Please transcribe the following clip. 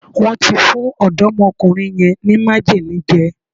Wón ti fún ọ̀dọ́mọkùnrin yẹn ní májèlé jẹ